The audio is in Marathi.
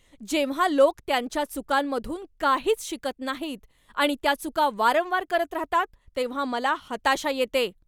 जेव्हा लोक त्यांच्या चुकांमधून काहीच शिकत नाहीत आणि त्या चुका वारंवार करत राहतात तेव्हा मला हताशा येते.